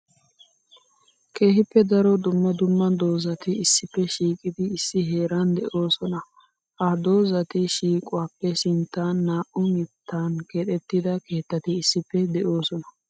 Keehippe daro dumma dumma doozatti issppe shiiqiddi issi heeran de'oosona. Ha dozzatti shiiquwappe sinttan naa'u mittan keexettidda keettati issippe de'osona.